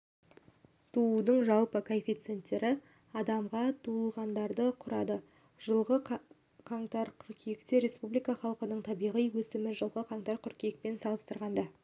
туудың жалпы коэффициенті адамға туылғандарды құрады жылғы қаңтар-қыркүйекте республика халқының табиғи өсімі жылғы қаңтар-қыркүйекпен салыстырғанда